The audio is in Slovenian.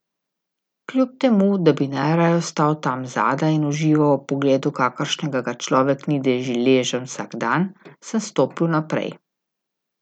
Kljub temu, da bi najraje ostal tam zadaj in užival ob pogledu kakršnega ga človek ni deležen vsak dan, sem stopil naprej.